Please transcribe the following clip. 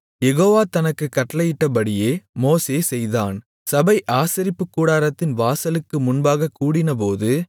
யெகோவா தனக்குக் கட்டளையிட்டபடியே மோசே செய்தான் சபை ஆசரிப்புக்கூடாரத்தின் வாசலுக்கு முன்பாகக் கூடினபோது